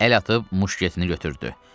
Əl atıb muşketini götürdü.